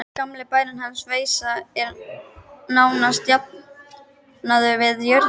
Gamli bærinn hans, Veisa, er nánast jafnaður við jörðu.